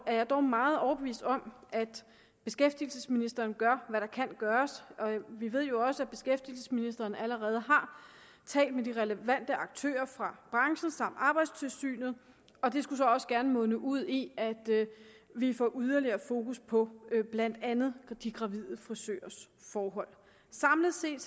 jeg dog meget overbevist om at beskæftigelsesministeren gør hvad der kan gøres vi ved jo også at beskæftigelsesministeren allerede har talt med de relevante aktører fra branchen samt arbejdstilsynet og det skulle så også gerne munde ud i at vi får yderligere fokus på blandt andet de gravide frisørers forhold samlet set